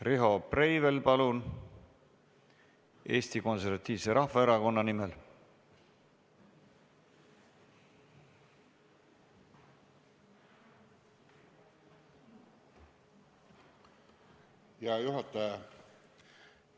Riho Breivel Eesti Konservatiivse Rahvaerakonna nimel, palun!